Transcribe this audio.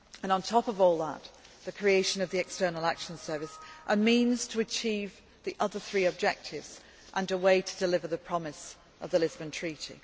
On top of all this comes the creation of the European External Action Service a means to achieve the other three objectives and a way to deliver the promise of the Lisbon Treaty.